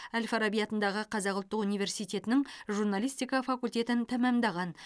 әл фараби атындағы қазақ ұлттық университетінің журналистика факультетін тәмамдаған